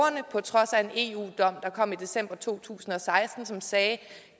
på trods af en eu dom der kom i december to tusind og seksten og som sagde at